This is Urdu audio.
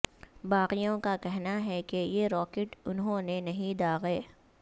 باغیوں کا کہنا ہے کہ یہ راکٹ انھوں نے نہیں داغے